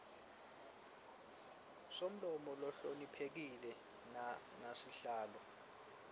somlomo lohloniphekile nasihlalo